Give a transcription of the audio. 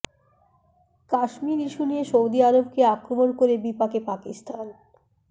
Kashmir issue নিয়ে Saudi আরবকে আক্রমণ করে বিপাকে পাকিস্তান